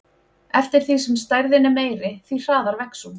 Eftir því sem stærðin er meiri, því hraðar vex hún.